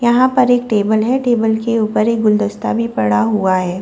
यहां पर एक टेबल है टेबल के ऊपर एक गुलदस्ता भी पड़ा हुआ है।